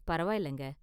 பரவாயில்லைங்க.